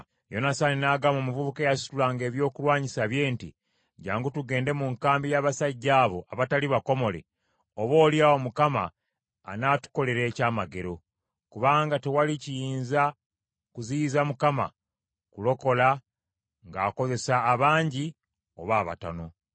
Yonasaani n’agamba omuvubuka eyasitulanga ebyokulwanyisa bye nti, Jjangu tugende mu nkambi y’abasajja abo abatali bakomole, oboolyawo Mukama anaatukolera ekyamagero. Kubanga tewali kiyinza kuziyiza Mukama kulokola, ng’akozesa abangi oba abatono.